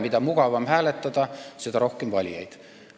Mida mugavam hääletada, seda rohkem valijaid.